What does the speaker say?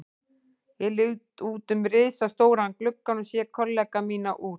Ég lít út um risastóran gluggann og sé kollega mína úr